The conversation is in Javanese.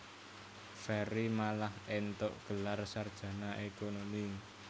Ferry malah éntuk gelar sarjana ékonomi